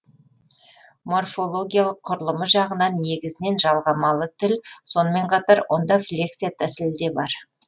морфологиялық құрылымы жағынан негізінен жалғамалы тіл сонымен қатар онда флексия тәсілі де бар